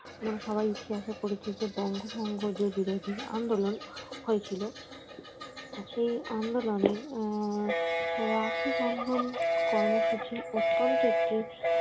এবং সবাই ইতিহাসে পড়েছে যে বঙ্গভঙ্গ যে বিরোধী আন্দোলন হয়েছিল সেই আন্দোলনে আহ রাখি বন্ধন কর্মসূচি অত্যন্ত একটি